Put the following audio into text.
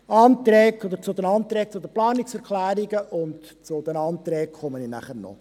Zu den Planungserklärungen und zu den Anträgen komme ich nachher noch.